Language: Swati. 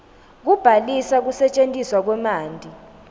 kubhalisa kusetjentiswa kwemanti